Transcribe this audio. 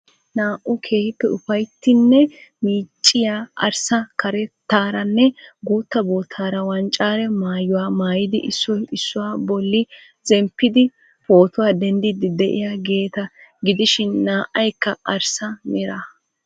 Naa'u keehiippe ufayttiyanne miicciya, arssa karetaaranne guutta boottaara wanccare maayuwaa mayidi issoy issuwa bolli zemphphidi pootuwa denddidi de'iyaageeta gidishin naa'aykka arssa meraa.